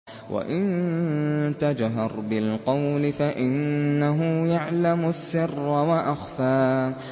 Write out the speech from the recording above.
وَإِن تَجْهَرْ بِالْقَوْلِ فَإِنَّهُ يَعْلَمُ السِّرَّ وَأَخْفَى